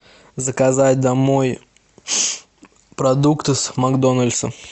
заказать домой продукты с макдональдса